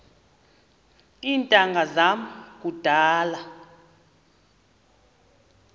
iintanga zam kudala